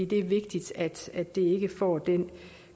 det er vigtigt at at det ikke får den